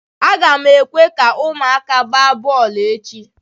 Aga m ekwe ka ụmụaka gbaa bọọlụ echi.